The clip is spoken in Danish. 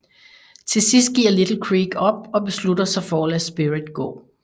Til sidst giver Little Creek op og beslutter sig for at lade Spirit gå